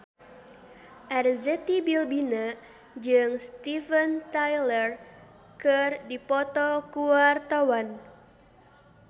Arzetti Bilbina jeung Steven Tyler keur dipoto ku wartawan